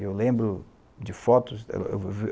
Eu lembro de fotos dela.